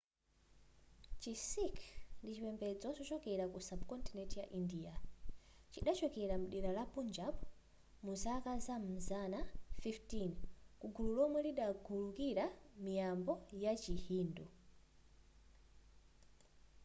chi sikh ndi chipembedzo chochokera ku sub-continent ya india chidachokera mdera la punjab muzaka zam'mazana 15 kugulu lomwe ligalukira miyambo ya chi hindu